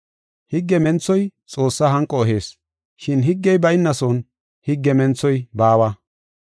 Higge menthoy Xoossaa hanqo ehees, shin higgey baynason higge menthoy baawa.